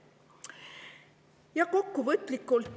Ja kokkuvõtteks.